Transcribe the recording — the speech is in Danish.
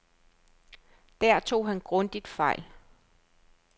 Der tog han grundigt fejl.